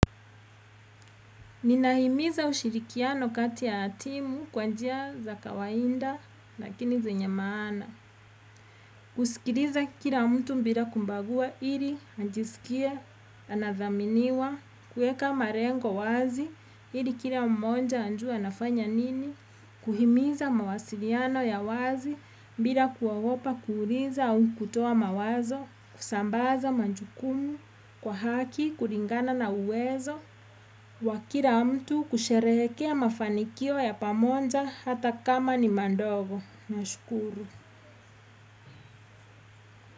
Ninaimiza ushirikiano kati ya timu kwa njia za kawainda, lakini zenye maana. Kusikiriza kila mtu mbira kumbagua, ili anjisikie, anathaminiwa, kueka marengo wazi, ili kila mmonja anjue anafanya nini. Kuhimiza mawasiriano ya wazi, mbira kuagopa kuuliza au kutoa mawazo, kusambaza manjukumu, kwa haki, kuringana na uwezo. Wa kira mtu kusherehekea mafanikio ya pamonja hata kama ni mandogo. Nashukuru.